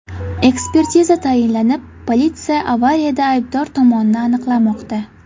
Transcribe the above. Ekspertiza tayinlanib, politsiya avariyada aybdor tomonni aniqlamoqda.